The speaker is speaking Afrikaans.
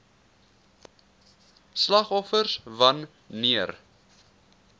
slagoffers wan neer